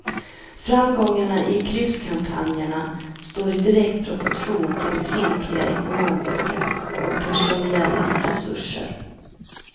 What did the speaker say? Framgångarna i krysskampanjerna står i direkt proportion till befintliga ekonomiska och personella resurser.